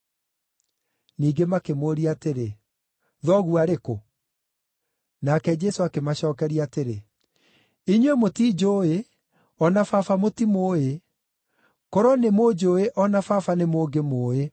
Ningĩ makĩmũũria atĩrĩ, “Thoguo arĩ kũ?” Nake Jesũ akĩmacookeria atĩrĩ, “Inyuĩ mũtinjũũĩ, o na Baba mũtimũũĩ. Korwo nĩmũnjũũĩ, o na Baba nĩmũngĩmũũĩ.”